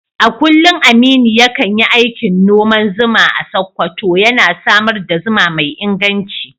A kullum Aminu ya kan yi aikin noman zuma a Sakkwato, yana samar da zuma mai inganci.